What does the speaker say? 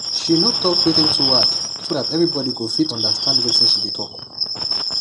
she no talk wetin too hard so that everybody go fit understand wetin she dey talk